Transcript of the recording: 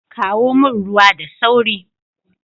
Kawo min ruwa da sauri